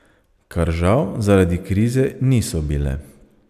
Kar žal zaradi krize niso bile.